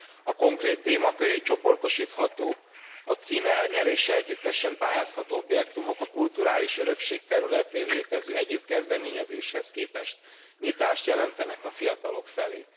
A konkrét téma köré csoportosítható, a cím elnyerése együttesen pályázható objektumok, a kulturális örökség területén létező egyéb kezdeményezéshez képest nyitást jelentenek a fiatalok felé.